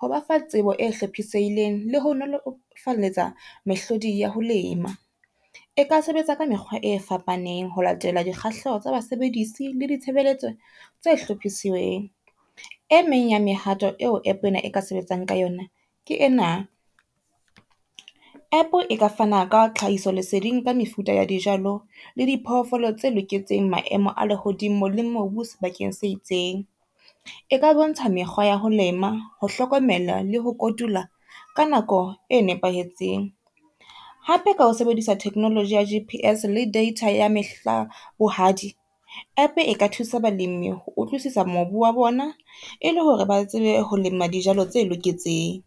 ho bafa tsebo e hlophisehileng le ho nolofaletsa mehlodi ya ho lema. Eka sebetsa ka mekgwa e fapaneng ho latela dikgahleho tsa basebedisi le ditshebeletso tse hlophisiweng. E meng ya mehato eo app ena e ka sebetsang ka yona ke ena, app e ka fana ka tlhahiso leseding ka mefuta ya dijalo le di phoofolo tse loketseng maemo a lehodimo le mobu sebakeng se itseng. E ka bontsha mekgwa ya ho lema, ho hlokomela le ho kotula ka nako e nepahetseng. Hape ka ho sebedisa technology ya G_P_S le data ya mehla bohadi, app e ka thusa balimi ho utlwisisa mobu wa bona e le hore ba tsebe ho lema dijalo tse loketseng.